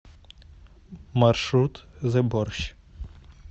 маршрут зэ борщ